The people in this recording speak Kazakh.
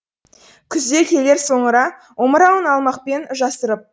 күз де келер соңыра омырауын алмақпен жасырып